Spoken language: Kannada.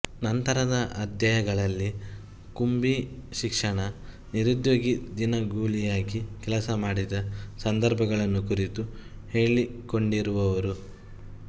ನಂತರದ ಅಧ್ಯಾಯಗಳಲ್ಲಿ ಕುಂವೀ ಶಿಕ್ಷಣ ನಿರುದ್ಯೋಗ ದಿನಗೂಲಿಯಾಗಿ ಕೆಲಸ ಮಾಡಿದ ಸಂದರ್ಭಗಳನ್ನು ಕುರಿತು ಹೇಳಿಕೊಂಡಿರುವರು